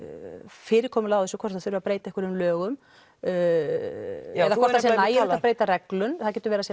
fyrirkomulagið á þessu hvort það þurfi að breyta einhverjum lögum eða hvort það sé nægilegt að breyta reglum það getur verið að